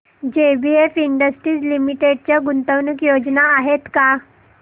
JBF industries limited च्या गुंतवणूक योजना आहेत का